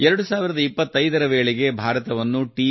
2025 ರ ವೇಳೆಗೆ ಭಾರತವನ್ನು ಟಿ